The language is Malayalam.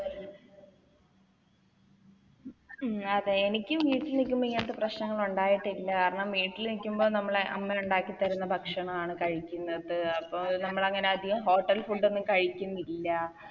ഉം അതെ എനിക്കും വീട്ടില് നിൽക്കുമ്പോ ഇങ്ങനത്തെ പ്രശ്നങ്ങളൊണ്ടായിട്ടില്ല കാരണം വീട്ടില് നിക്കുമ്പോ നമ്മളെ അമ്മ ഉണ്ടാക്കി തരുന്ന ഭക്ഷണമാണ് കഴിക്കുന്നത് അപ്പൊ നമ്മളങ്ങനെ അതികം Hotel food ഒന്നും അങ്ങനെ കഴിക്കുന്നില്ല